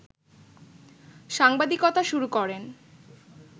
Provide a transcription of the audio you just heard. সাংবাদিকতা শুরু করেন